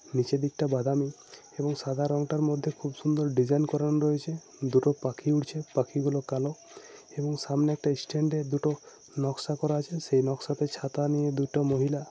নিচে দিক টা বাদামি এবং সাদা রং টার মধ্যে খুব সুন্দর ডিসাইন করণ রয়েছে দুটো পাখি উড়ছে পাখি গুলো কালো এবং সামনে একটা স্ট্যান্ড এ দুটো নকশা করা আছে । সেই নকশা তে ছাতা নিয়ে দুটো মহিলা ।